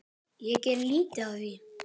Ég geri lítið af því.